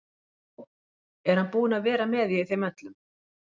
Ó, er hann búinn að vera með í þeim öllum?